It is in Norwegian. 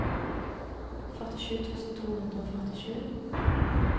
førtisju tusen to hundre og førtisju